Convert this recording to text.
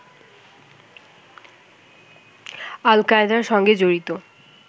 আল-কায়েদার সঙ্গে জড়িত